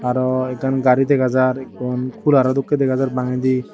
araw ekkan gari dega jaar ekkon cularo dokke dega jaar bangedi.